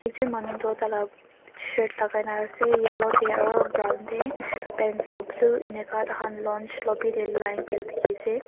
ekjun manu toh taila shirt lagai na ase yellow tey aru brown tey pants toh blue enika taihan lounge lobby tey line kuretu dikhi ase.